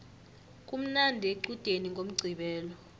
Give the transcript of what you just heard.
kumnandi equdeni ngomqqibelo